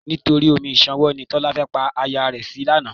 Nítorí omi ìṣanwọ́ ni Tọ́lá fẹ́ pa aya rẹ̀ sí lánàá.